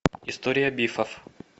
история бифов